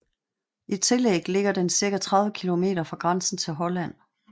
I tillæg ligger den cirka 30 km fra grænsen til Holland